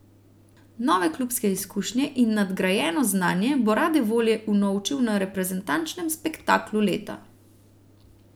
Nove klubske izkušnje in nadgrajeno znanje bo rade volje unovčil na reprezentančnem spektaklu leta.